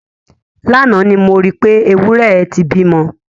Lánàá ni mo rí pé, ewúrẹ́ ẹ ti bímọ.